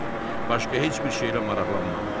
Başqa heç bir şeylə maraqlanmadı.